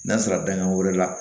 N'a sɔrɔ dankan wɛrɛ la